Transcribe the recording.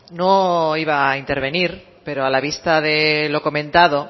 no iba a intervenir pero a la vista de lo comentado